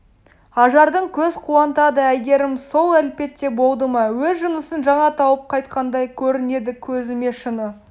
ажарың көз қуантады әйгерәм сол әлпетте болды ма өз жынысын жаңа тауып қайтқандай көрінеді көзіме шыны